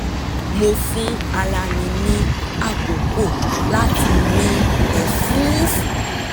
mo fún ara mi ní àkókò láti mí ẹ̀fúùfù